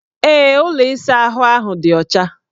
Ee, ụlọ ịsaahụ ahụ dị ọcha.